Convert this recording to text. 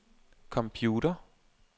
computer